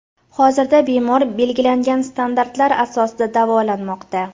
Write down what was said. Hozirda bemor belgilangan standartlar asosida davolanmoqda.